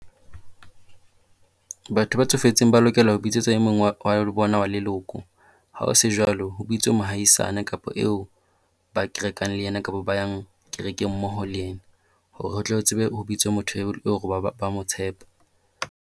Batho ba tsofetseng ba lokela ho bitsetsa e mong wa wa bona wa leloko. Ha ho se jwalo ho bitswe mohaisana kapo eo ba kerekang le ena kapo ba yang kerekeng mmoho le yena. Hore o tlo tsebe ho bitswe motho ba mo tshepa.